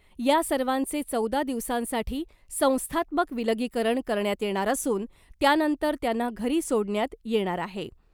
या सर्वांचे चौदा दिवसांसाठी संस्थात्मक विलगीकरण करण्यात येणार असून त्यानंतर त्यांना घरी सोडण्यात येणार आहे .